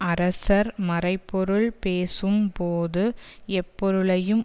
அரசர் மறைபொருள் பேசும் போது எப்பொருளையும்